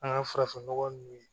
An ka farafinnɔgɔ ninnu